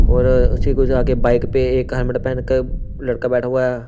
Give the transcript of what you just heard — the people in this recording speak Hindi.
और उसी को आगे बाइक पे एक हेलमेट पहनकर लड़का बैठा हुआ है।